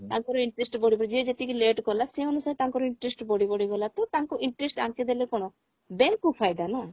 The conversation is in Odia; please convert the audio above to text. ତାଙ୍କର interest ବଢିବ ଯିଏ ଯେତିକି late କଲା ସେ ଅନୁସାରେ ତାଙ୍କର interest ବଢି ବଢି ଗଲା ତ ତାଙ୍କୁ interest ଆଙ୍କେ ଦେଲେ କଣ bank କୁ ଫାଇଦା ନା